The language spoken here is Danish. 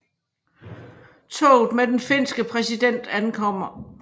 Toget med den finske præsident ankommer